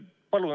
Palun!